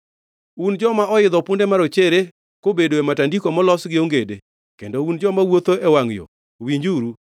“Un joma oidho punde marochere, kobedo e matandiko molos gi ongede, kendo un joma wuotho e wangʼ yo, winjuru,